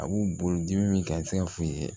A b'u bolo dimi min kɛ a tɛ se ka f'u ye